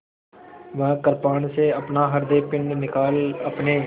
वह कृपाण से अपना हृदयपिंड निकाल अपने